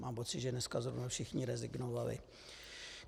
Mám pocit, že dneska zrovna všichni rezignovali.